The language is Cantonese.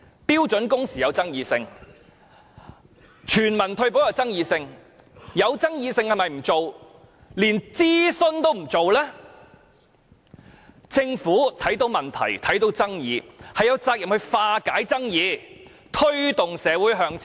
標準工時有爭議、全民退保有爭議，如果有爭議的事情就不做，連諮詢也不願做，其實政府當看到問題、看到爭議出現時，是有責任化解爭議，推動社會向前的。